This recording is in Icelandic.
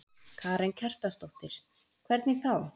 Karen Kjartansdóttir: Hvernig þá?